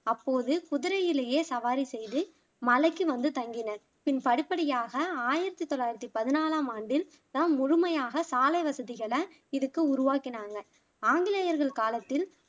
அப்போது குதிரையிலேயே சவாரி செய்து மலைக்கு வந்து தங்கினர் பின் படிப்படியாக ஆயிரத்தி தொள்ளாயிரத்தி பதினாலாம் ஆண்டு தான் முழுமையாக சாலை வசதிகளை இதுக்கு உருவாக்கினாங்க ஆங்கிலேயர்கள் காலத்தில்